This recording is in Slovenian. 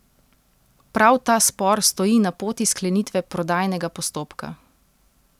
Prav ta spor stoji na poti sklenitve prodajnega postopka.